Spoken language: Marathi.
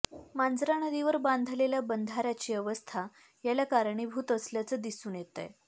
मांजरा नदीवर बांधलेल्या बंधाऱ्यांची अवस्था याला कारणीभूत असल्याचं दिसून येतंय